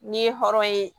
N'i ye hɔrɔn ye